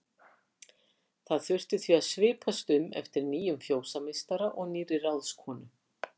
Það þurfti því að svipast um eftir nýjum fjósameistara og nýrri ráðskonu.